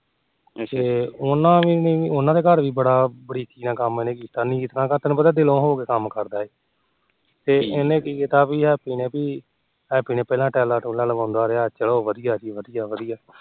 ਤੇ ਉਹਨਾ ਦੇ ਉਹਨਾ ਦੇ ਕੰਮ ਵੀ ਵਧੀਆਂ ਇਹਨੇ ਕੀਤੇ ਬਰੀਕੀ ਨਾਲ ਦਿਲੋ ਤੈਨੂੰ ਪਤਾ ਦਿਲੋ ਹੋ ਕੇ ਕੰਮ ਕਰਦਾ ਇਹ ਉਹਨੇ ਕੀ ਕੀਤਾ ਪੀ ਹੈਪੀ ਨੇ ਪਹਿਲਾ tall tulle ਲਾਂਦਾ ਰਿਹਾ ਕ ਚਲੋ ਵਧੀਆਂ ਚਲੋ ਵਧੀਆਂ